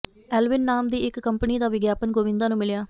Alvin ਨਾਮ ਦੀ ਇੱਕ ਕੰਪਨੀ ਦਾ ਵਿਗਿਆਪਨ ਗੋਵਿੰਦਾ ਨੂੰ ਮਿਲਿਆ